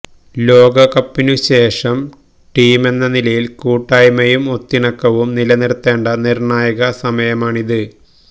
ലോകകപ്പിനു ശേഷം ടീമെന്ന നിലയിൽ കൂട്ടായ്മയും ഒത്തിണക്കവും നിലനിർത്തേണ്ട നിർണായക സമയമാണിത്